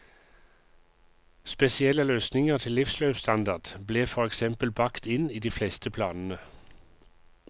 Spesielle løsninger til livsløpsstandard ble for eksempel bakt inn i de fleste planene.